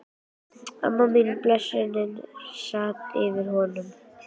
Og amma mín, blessunin, sat yfir honum.